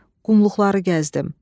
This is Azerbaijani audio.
Qumluqları gəzdim.